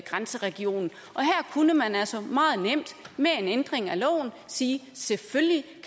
grænseregionen og her kunne man altså meget nemt med en ændring af loven sige at selvfølgelig